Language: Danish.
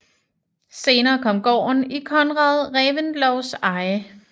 Senere kom gården i Conrad Reventlows eje